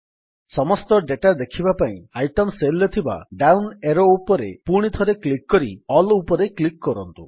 ସମସ୍ତ ଦାତା ଦେଖିବା ପାଇଁ ଆଇଟେମ୍ ସେଲ୍ ରେ ଥିବା ଡାଉନ୍ ଏରୋ ଉପରେ ପୁଣିଥରେ କ୍ଲିକ୍ କରି ଆଲ୍ ଉପରେ କ୍ଲିକ୍ କରନ୍ତୁ